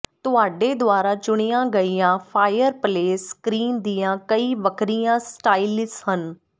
ਤੁਹਾਡੇ ਦੁਆਰਾ ਚੁਣੀਆਂ ਗਈਆਂ ਫਾਇਰਪਲੇਸ ਸਕ੍ਰੀਨ ਦੀਆਂ ਕਈ ਵੱਖਰੀਆਂ ਸਟਾਈਲਸ ਹਨ